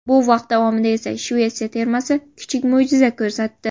Bu vaqt davomida esa Shvetsiya termasi kichik mo‘jiza ko‘rsatdi.